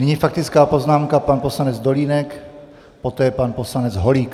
Nyní faktická poznámka, pan poslanec Dolínek, poté pan poslanec Holík.